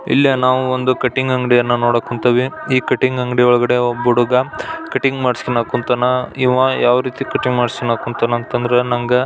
ಇಲ್ಲಿ ನಾವು ಒಂದು ಕಟಿಂಗ್ ಅಂಗಡಿಯನ್ನು ನೋಡಕ್ ಕುಂತೀವಿ. ಈ ಕಟಿಂಗ್ ಅಂಗಡಿ ಒಳಗಡೆ ಒಬ್ಬ ಹುಡುಗ ಕಟಿಂಗ್ ಮಾಡಿಸಿ ಕೊಳ್ಳಾಕ್ ಕುಂತಾನ. ಇವ ಯಾವ ರೀತಿ ಕಟಿಂಗ್ ಮಾಡಿಸಾಕ್ ಕುಂತಾನ ಅಂತಂದ್ರೆ ನಂಗ --